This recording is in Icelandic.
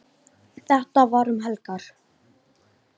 Þetta var um helgar.